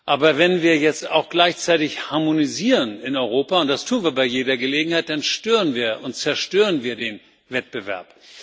Aber wenn wir jetzt auch gleichzeitig harmonisieren in Europa und das tun wir bei jeder Gelegenheit dann stören und zerstören wir den Wettbewerb.